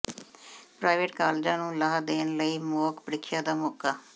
private ਕਾਲਜਾਂ ਨੂੰ ਲਾਹਾ ਦੇਣ ਲਈ ਮੌਕ ਪ੍ਰੀਖਿਆ ਦਾ ਮੌਕਾ